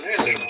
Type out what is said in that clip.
O genişləndi.